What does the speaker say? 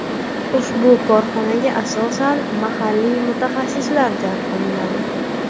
Ushbu korxonaga asosan mahalliy mutaxassislar jalb qilinadi.